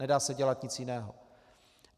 Nedá se dělat nic jiného.